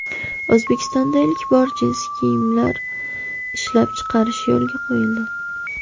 O‘zbekistonda ilk bora jinsi kiyimlar ishlab chiqarish yo‘lga qo‘yildi.